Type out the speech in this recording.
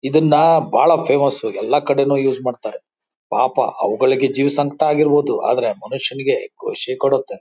ಇದನ್ನ ಬಹಳ ಫೇಮಸ್ ಎಲ್ಲಾ ಕಡೆನೂ ಯೂಸ್ ಮಾಡ್ತಾ.ರ ಪಾಪ ಅವುಗಳಿಗೆ ಜೀವ ಸಂಕಟ ಆಗಿರ್ಬಹುದು ಆದ್ರೆ ಮನುಷ್ಯನಿಗೆ ಖುಷಿ ಕೊಡುತ್ತೆ.